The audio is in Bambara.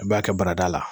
I b'a kɛ barada la